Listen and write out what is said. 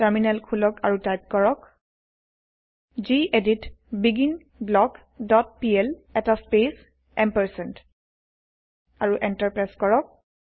terminal খোলক আৰু type কৰক গেদিত বিগিনব্লক ডট পিএল এটা স্পেচ এম্পাৰচেণ্ড আৰু এন্টাৰ প্ৰেছ কৰক